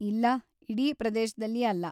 ಇಲ್ಲ, ಇಡೀ ಪ್ರದೇಶದಲ್ಲಿ ಅಲ್ಲ.